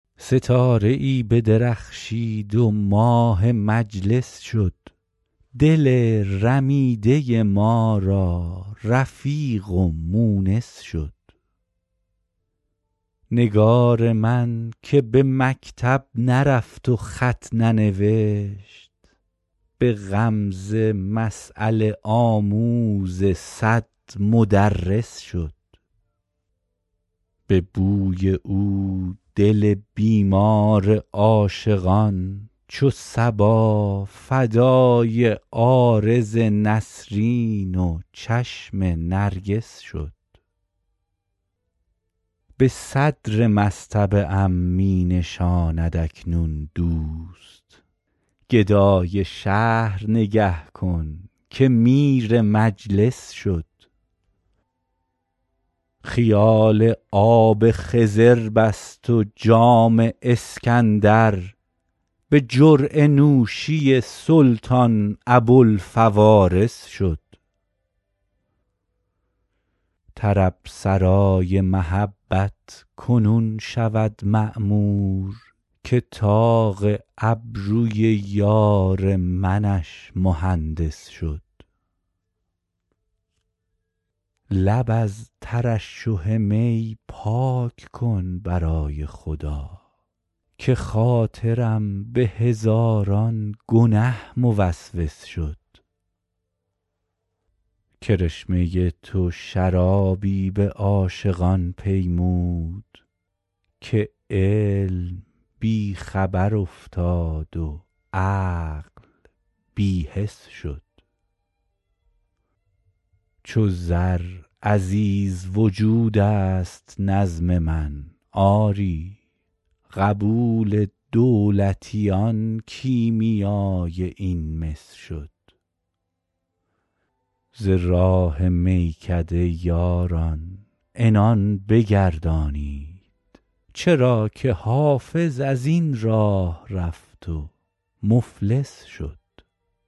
ستاره ای بدرخشید و ماه مجلس شد دل رمیده ما را رفیق و مونس شد نگار من که به مکتب نرفت و خط ننوشت به غمزه مسأله آموز صد مدرس شد به بوی او دل بیمار عاشقان چو صبا فدای عارض نسرین و چشم نرگس شد به صدر مصطبه ام می نشاند اکنون دوست گدای شهر نگه کن که میر مجلس شد خیال آب خضر بست و جام اسکندر به جرعه نوشی سلطان ابوالفوارس شد طرب سرای محبت کنون شود معمور که طاق ابروی یار منش مهندس شد لب از ترشح می پاک کن برای خدا که خاطرم به هزاران گنه موسوس شد کرشمه تو شرابی به عاشقان پیمود که علم بی خبر افتاد و عقل بی حس شد چو زر عزیز وجود است نظم من آری قبول دولتیان کیمیای این مس شد ز راه میکده یاران عنان بگردانید چرا که حافظ از این راه رفت و مفلس شد